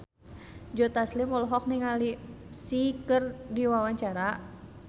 Joe Taslim olohok ningali Psy keur diwawancara